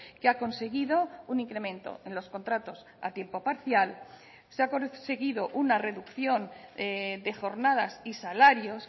que ha conseguido un incremento en los contratos a tiempo parcial se ha conseguido una reducción de jornadas y salarios